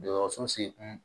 Dɔgɔso segu